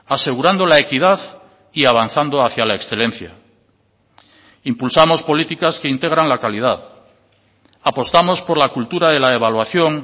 asegurando la equidad y avanzando hacia la excelencia impulsamos políticas que integran la calidad apostamos por la cultura de la evaluación